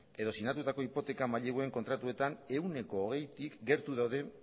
edo sinatutako hipoteka maileguen kontratuetan ehuneko hogeitik gertu daude